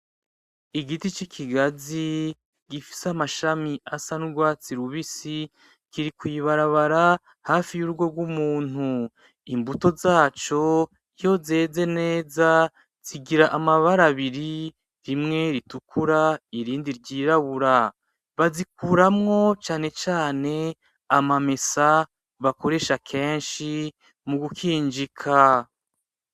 Igiti c’ikigazi gifise amashami asa n’ugwatsi rubisi kiri kwi ibarabara hafi y’urugo rw’umuntu. Imbuto zaco iyo zeze neza zigira amabara abiri, rimwe ritukura irindi ryirabura. Bazikuramo canecane amamesa bakoresha kenshi mu kunkinjika.